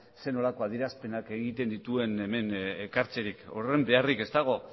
ze nolako adierazpenak egiten dituen hemen ekartzerik horren beharrik ez dago